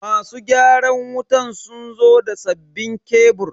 Masu gyaran wutan sun zo da sabbinn kebur.